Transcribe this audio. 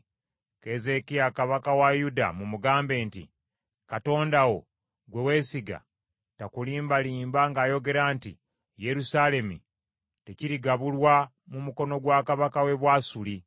“Keezeekiya kabaka wa Yuda mumugambe nti, Katonda wo gwe weesiga takulimbanga ng’ayogera nti, ‘Yerusaalemi tekirigabulwa mu mukono gwa kabaka w’e Bwasuli.’